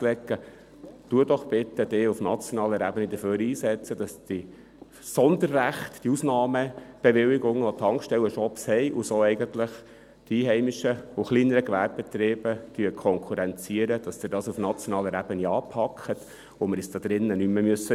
Setzen Sie sich doch bitte auf nationaler Ebene dafür ein, dass die Sonderrechte, die Ausnahmebewilligungen, welche die Tankstellenshops haben und so eigentlich die einheimischen und kleineren Gewerbebetriebe konkurrenzieren, auf nationaler Ebene anpacken und wir uns hier nicht mehr ärgern müssen.